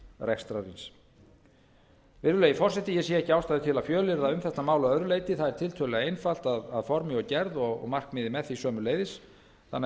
ríkisrekstrar virðulegi forseti ég sé ekki ástæðu til að fjölyrða um þetta mál að öðru leyti það er tiltölulega einfalt að formi og gerð og markmiðið með því sömuleiðis þannig að